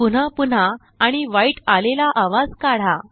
पुनः पुन्हा आणि वाईटआलेले आवाज काढा